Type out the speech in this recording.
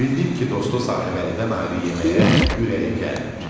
Bildim ki, dostu Sahibəlidən ayrı yeməyə ürəyi gəlmir.